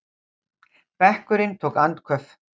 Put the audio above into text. Bekkurinn tók andköf.